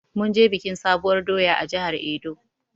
Munje biƙin sabuwur ɗoya a jihar edo